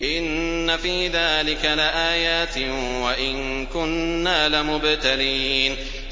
إِنَّ فِي ذَٰلِكَ لَآيَاتٍ وَإِن كُنَّا لَمُبْتَلِينَ